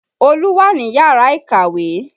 Olú wà ní yàrá ìkàwé